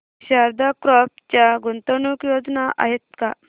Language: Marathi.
शारदा क्रॉप च्या गुंतवणूक योजना आहेत का